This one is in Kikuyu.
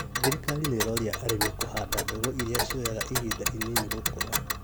Thirikari nĩĩroria arĩmi kũhanda mbegũ irĩa cioyaga ihinda inini gũkũra